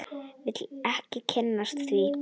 Vil ekki kynnast því.